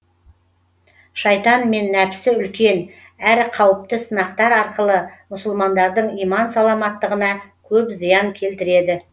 шайтан мен нәпсі үлкен әрі қауіпті сынақтар арқылы мұсылмандардың иман саламаттығына көп зиян келтіреді